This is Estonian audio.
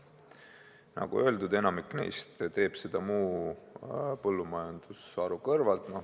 Nagu öeldud, enamik neist tegeleb sellega muu põllumajandusharu kõrvalt.